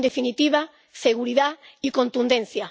En definitiva, seguridad y contundencia.